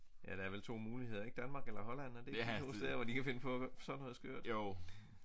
Ja der er vel 2 muligheder ik Danmark eller Holland er det ikke de 2 steder hvor de kan finde på sådan noget skørt